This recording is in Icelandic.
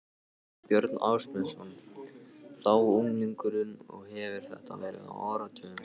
Björn Ásmundsson, þá unglingur og hefir þetta verið á áratugnum